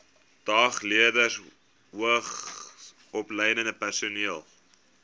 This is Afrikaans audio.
dagleerders hoogsopgeleide personeel